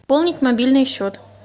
пополнить мобильный счет